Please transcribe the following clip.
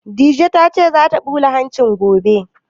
Dije ta ce za ta ɓula hanci gobe